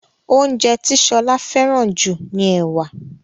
oúnjẹ ti Shola feran ju ní ẹwà.